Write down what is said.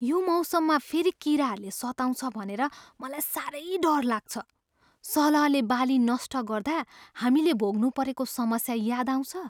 यो मौसममा फेरि किराहरूले सताउँछ भनेर मलाई साह्रै डर लाग्छ। सलहले बाली नष्ट गर्दा हामीले भोग्नुपरेको समस्या याद आउँछ?